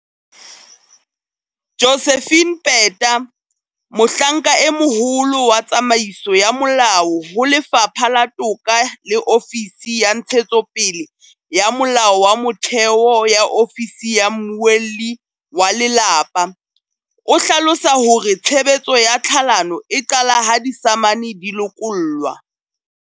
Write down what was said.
Josephine Peta, Mohlanka e Moholo wa Tsamaiso ya Molao ho Lefapha la Toka le Ofisi ya Ntshetsopele ya Molao wa Motheo ya Ofisi ya Mmuelli wa Lelapa, o hlalosa hore tshebetso ya tlhalano e qala ha disamane di lokollwa.